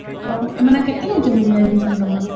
ଓଃ ଏମେନେ କେତେ ନଉଛନ୍ତି କି readmission ତମର?